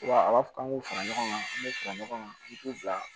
Wa a b'a fɔ k'an k'u fara ɲɔgɔn kan an bɛ fara ɲɔgɔn kan i t'u bila